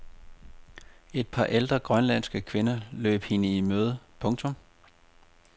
Et par ældre grønlandske kvinder løb hende i møde. punktum